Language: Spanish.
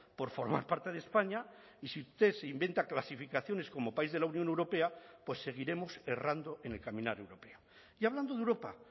por formar parte de españa y si usted se inventa clasificaciones como país de la unión europea pues seguiremos errando en el caminar europeo y hablando de europa